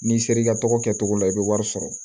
N'i sera i ka tɔgɔ kɛcogo la i bɛ wari sɔrɔ